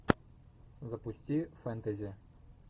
запусти фэнтези